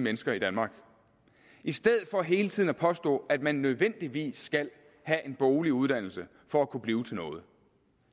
mennesker i danmark i stedet for hele tiden at påstå at man nødvendigvis skal have en boglig uddannelse for at kunne blive til noget